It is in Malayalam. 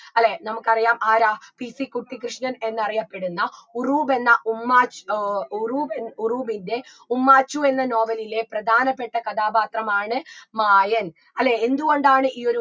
അല്ലേ നമുക്കറിയാം ആരാ PC കുട്ടിക്രിഷ്‌ണൻ എന്നറിയപ്പെടുന്ന ഉറൂബ് എന്ന ഉമ്മാച്ചു ഏർ ഉറൂബ് ഉറൂബിൻറെ ഉമ്മാച്ചു എന്ന novel ലിലെ പ്രധാനപ്പെട്ട കഥാപാത്രമാണ് മായൻ അല്ലേ എന്ത് കൊണ്ടാണ് ഈ ഒരു